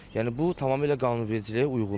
Yəni bu tamamilə qanunvericiliyə uyğundur.